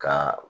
Ka